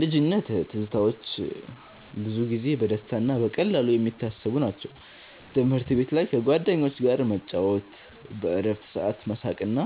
ልጅነት ትዝታዎች ብዙ ጊዜ በደስታ እና በቀላሉ የሚታሰቡ ናቸው። ትምህርት ቤት ላይ ከጓደኞች ጋር መጫወት፣ በእረፍት ሰዓት መሳቅ እና